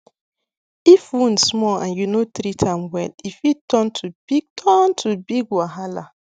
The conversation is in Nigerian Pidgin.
if wound small and you no treat am well e fit turn to big turn to big wahala